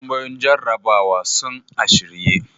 Takardun tambayoyin jarrabawa sun a shirye.